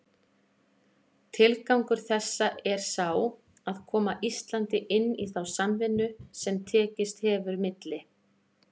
Tilgangur þessa er sá, að koma Íslandi inn í þá samvinnu, sem tekist hefur milli